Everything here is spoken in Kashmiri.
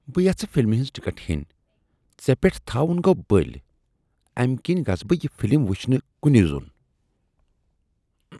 بہٕ یَژھہٕ فلمہِ ہٕنٛز ٹکٹ ہیٚنۍ ژےٚ پٮ۪ٹھ تھاون گوٚو بٔلۍ، امہ کنۍ گژھٕ بہٕ یہ فلم وٕچھنہ کنے زوٚن۔